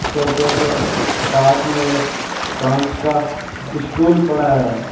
सोफे के पास में एक कांच का स्टूल पड़ा है।